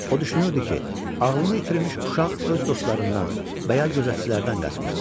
O düşünürdü ki, ağlını itirmiş uşaq öz dostlarından və ya gözətçilərdən qaçmışdı.